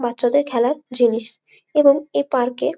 বাচ্চাদের খেলার জিনিস এবং এ পার্ক এ --